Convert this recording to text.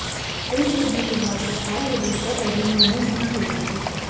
film देखने के बाद तत्काल विरोध कर रहे निर्णय नहीं ले सके